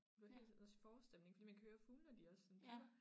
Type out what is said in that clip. Det var helt også forårstemning fordi man kan hører de også sådan pipper